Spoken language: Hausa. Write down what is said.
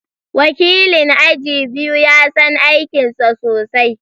Wakilin aji biyu ya san aikinsa sosai